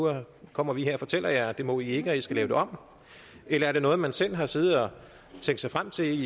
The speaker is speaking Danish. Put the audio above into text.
kommer vi her og fortæller jer at det må i ikke og at i skal lave det om eller er det noget man selv har siddet og tænkt sig frem til